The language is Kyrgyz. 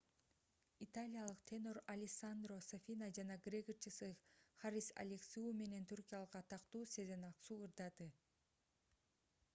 италиялык тенор алессандро сафина жана грек ырчысы харис алексиу менен түркиялык атактуу сезен аксу ырдады